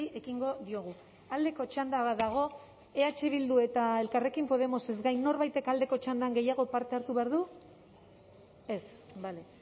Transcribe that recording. ekingo diogu aldeko txanda bat dago eh bildu eta elkarrekin podemosez gain norbaitek aldeko txandan gehiago parte hartu behar du ez bale